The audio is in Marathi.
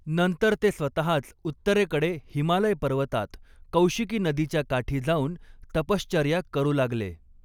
नंतर ते स्वतःच उत्तरेकडे हिमालय पर्वतात कौशिकी नदीच्या काठी जाऊन तपश्चर्या करू लागले.